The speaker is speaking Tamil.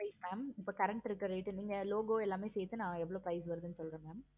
இப்ப current இருக்க rate க்கு இந்த logo எல்லாம் சேர்த்து நா எவ்வளோ price வருதுன்னு சொல்றேன் mam